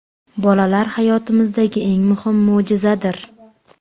Bolalar – hayotimizdagi eng muhim mo‘jizadir.